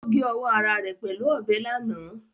Ó gé ọwọ́ ara rẹ̀ pẹ̀lú ọbẹ̀ lánàá